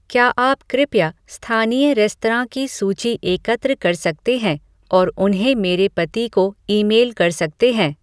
क्या आप कृपया स्थानीय रेस्तरां की सूची एकत्र कर सकते हैं और उन्हें मेरे पति को ईमेल कर सकते हैं